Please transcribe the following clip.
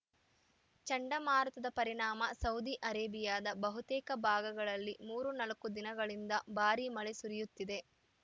ಚಂಡಮಾರುತದ ಪರಿಣಾಮ ಸೌದಿ ಅರೇಬಿಯಾದ ಬಹುತೇಕ ಭಾಗಗಳಲ್ಲಿ ಮೂರು ನಾಲ್ಕು ದಿನಗಳಿಂದ ಭಾರೀ ಮಳೆ ಸುರಿಯುತ್ತಿದೆ